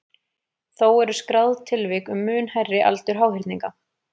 Þó eru skráð tilvik um mun hærri aldur háhyrninga.